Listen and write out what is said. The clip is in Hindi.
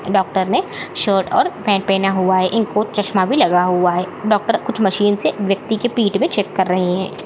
डॉक्टर ने शर्ट और पैन्ट पहना हुआ है इन को चश्मा भी लगा हुआ है डॉक्टर कुछ मशीन से वयक्ति पीठ में चेक कर रहे है।